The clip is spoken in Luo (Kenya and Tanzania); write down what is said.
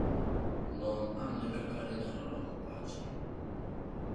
Non ane kaka inyalo loko pache.